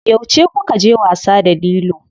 Yauce kukaje wasa da lilo?